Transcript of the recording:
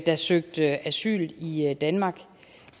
der søgte asyl i i danmark